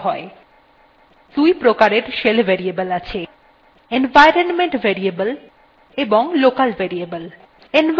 দুই প্রকারের shell variable আছে: